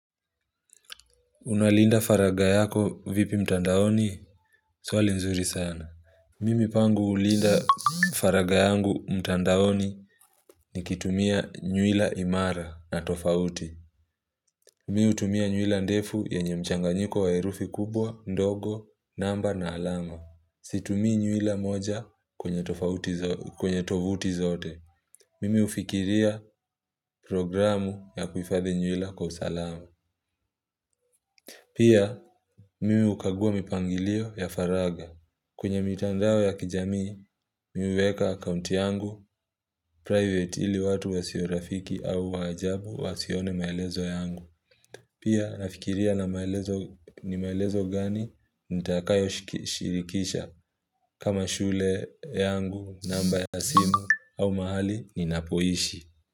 Unalinda faraga yako vipi mtandaoni, swali mzuri sana. Mimi pangu hulinda faraga yangu mtandaoni nikitumia nywila imara na tofauti. Mimi hutumia nywila ndefu ye nye mchanganyiko wa herufi kubwa, ndogo, namba na alama. Situmii nyuwila moja kwenye tovuti zote. Mimi hufikiria programu ya kuhifadhi nywila kwa usalama. Pia, mimi hukagua mipangilio ya faraga. Kwenye mitandao ya kijamii, mimi niweka account yangu, private hili watu wasio rafiki au wajabu wasione maelezo yangu. Pia nafikiria na maelezo ni maelezo gani nitakayo shirikisha kama shule yangu namba ya simu au mahali ni napoishi.